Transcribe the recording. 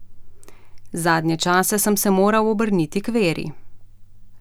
Zadnje čase sem se moral obrniti k veri.